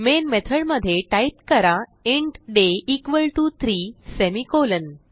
main method मध्ये type करा int day equal to 3 semi colon